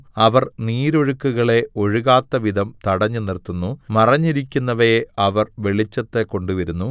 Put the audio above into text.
അവർ നീരൊഴുക്കുകളെ ഒഴുകാത്തവിധം തടഞ്ഞുനിർത്തുന്നു മറഞ്ഞിരിക്കുന്നവയെ അവർ വെളിച്ചത്ത് കൊണ്ടുവരുന്നു